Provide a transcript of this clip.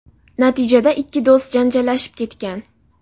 Natijada ikki do‘st janjallashib ketgan.